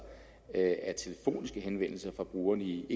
at telefoniske henvendelser fra brugerne i